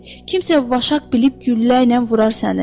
Kimsə vaşaq bilib güllərlə vurar səni.